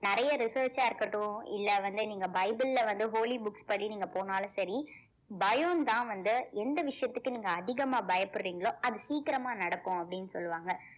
நறைய research ஆ இருக்கட்டும் இல்ல வந்து நீங்க bible ல வந்து holly books படி நீங்க போனாலும் சரி பயம்தான் வந்து எந்த விஷயத்துக்கு நீங்க அதிகமா பயப்படுறீங்களோ அது சீக்கிரமா நடக்கும் அப்படின்னு சொல்லுவாங்க